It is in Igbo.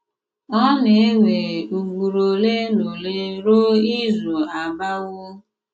Ọ na-ewe ùgbùrù ọ̀lè na ọ̀lè rùò ìzù àbàwò.